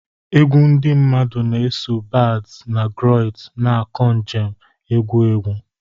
Egwu ndị mmadụ na-eso bards na griots, na-akọ njem egwu egwu.